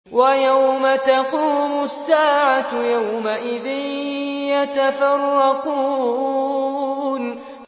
وَيَوْمَ تَقُومُ السَّاعَةُ يَوْمَئِذٍ يَتَفَرَّقُونَ